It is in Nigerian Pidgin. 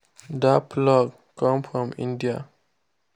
that plough come from india.